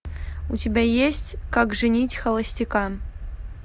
у тебя есть как женить холостяка